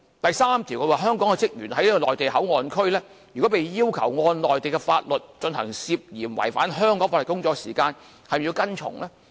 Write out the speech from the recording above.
第三，如果香港職員在內地口岸區被要求按照內地法律，進行涉嫌違反香港法律的工作時，他們是否要跟從呢？